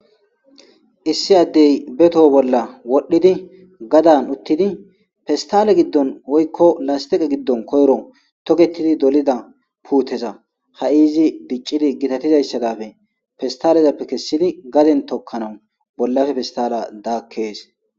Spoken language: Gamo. Issi addey be too bolla wodhidi garsan uttidi pestale gidon woyko lastiqe gidon koyro toketidi de'iza puute ha'i izi gitatizaysa daape pestalezappe kesidinne gaden tokanas bollappe pestale daakes.